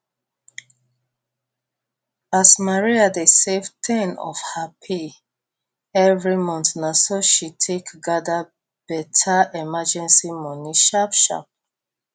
as maria dey save ten of her pay every month na so she take gather better emergency money sharp sharp